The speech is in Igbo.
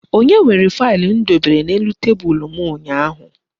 Onye were faịlụ m dobere n'elu tebulu m ụnyaahụ?